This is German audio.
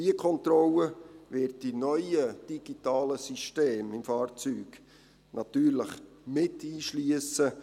Diese Kontrolle wird die neuen digitalen Systeme im Fahrzeug natürlich mit einschliessen;